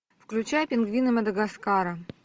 включай пингвины мадагаскара